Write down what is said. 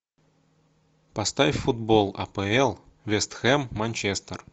поставь футбол апл вест хэм манчестер